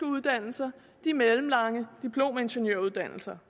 uddannelser de mellemlange diplomingeniøruddannelser